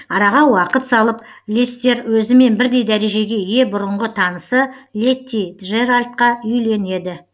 араға уақыт салып лестер өзімен бірдей дәрежеге ие бұрынғы танысы летти джеральдқа үйленеді